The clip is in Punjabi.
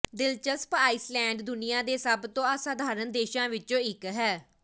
ਦਿਲਚਸਪ ਆਈਸਲੈਂਡ ਦੁਨੀਆ ਦੇ ਸਭ ਤੋਂ ਅਸਾਧਾਰਣ ਦੇਸ਼ਾਂ ਵਿੱਚੋਂ ਇੱਕ ਹੈ